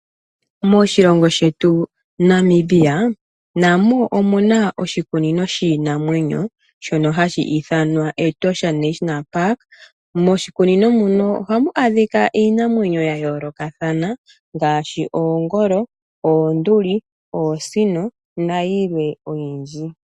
Moshilongo shetu Namibia, namo omuna oshikunino shiinamwenyo shono hashi ithanwa Etosha National Park. Moshikunino muno ohamu adhika iinamwenyo ya yoolokathana ngaashi oongolo, oonduli, oosino nayilwe oyindji.